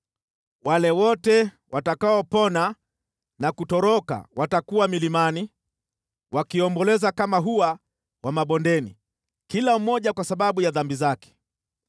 Wale wote watakaopona na kutoroka watakuwa milimani, wakiomboleza kama hua wa mabondeni, kila mmoja kwa sababu ya dhambi zake.